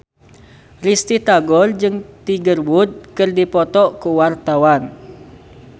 Risty Tagor jeung Tiger Wood keur dipoto ku wartawan